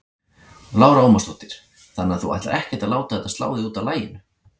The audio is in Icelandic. Lára Ómarsdóttir: Þannig að þú ætlar ekkert að láta þetta slá þig út af laginu?